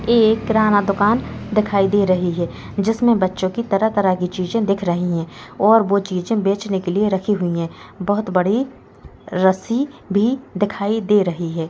एक किराना दुकान दिखाई दे रही है जिसमें बच्चों की तरह-तरह की चीज़ें दिख रही है और वह चीज़ें बेचने के लिए के लिए रखी हुई है बहुत बड़ी रस्सी भी दिखाई दे रही है।